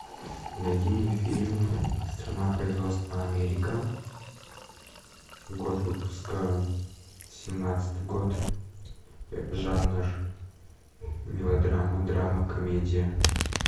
найди мне фильм страна производства америка год выпуска семнадцатый год жанр мелодрама драма комедия